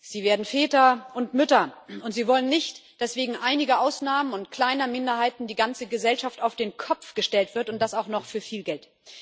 Sie werden Väter und Mütter, und sie wollen nicht, dass wegen einiger Ausnahmen und kleiner Minderheiten die ganze Gesellschaft auf den Kopf gestellt wird und das auch noch für viel Geld.